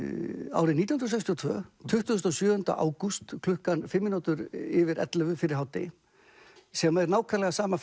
árið nítján hundruð sextíu og tvö tuttugasta og sjöunda ágúst klukkan fimm mínútur yfir ellefu fyrir hádegi sem er nákvæmlega sama